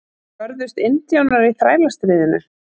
Börðust indjánar í Þrælastríðinu?